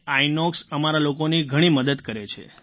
ઇનોક્સ અમારા લોકોની ઘણી મદદ કરે છે